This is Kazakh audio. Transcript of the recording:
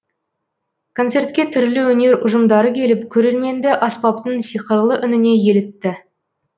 концертке түрлі өнер ұжымдары келіп көрерменді аспаптың сиқырлы үніне елітті